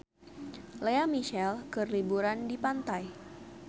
Lea Michele keur liburan di pantai